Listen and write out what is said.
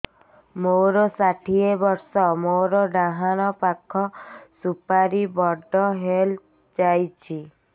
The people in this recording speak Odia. ମୋର ଷାଠିଏ ବର୍ଷ ମୋର ଡାହାଣ ପାଖ ସୁପାରୀ ବଡ ହୈ ଯାଇଛ